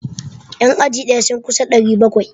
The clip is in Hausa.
Yan aji daya kadai sun kusa 700.